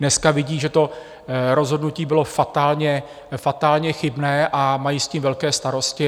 Dneska vidí, že to rozhodnutí bylo fatálně chybné, a mají s tím velké starosti.